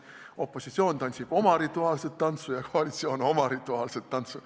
Opositsioon tantsib oma rituaalset tantsu ja koalitsioon oma rituaalset tantsu.